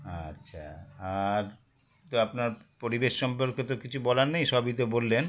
আচ্ছা আর তো আপনার পরিবেশ সম্পর্কে তো কিছু বলার নেই সবই তো বললেন